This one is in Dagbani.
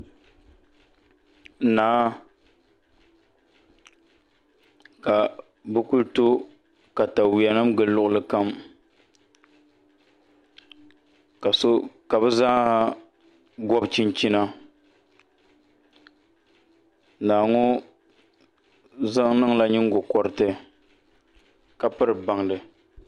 Naa ka bɛ ku to takawuyanima gili luɣuli kam ka so ka bɛ zaaha gɔbi chinchina naa ŋɔ zaŋ niŋla nyingo'kɔriti ka piri bandi